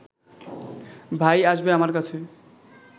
ভাই আসবে আমার কাছে